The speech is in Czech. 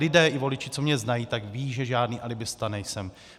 Lidé i voliči, co mě znají, tak vědí, že žádný alibista nejsem.